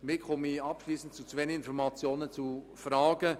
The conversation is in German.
Somit komme ich abschliessend zu zwei Informationen aufgrund von Fragen.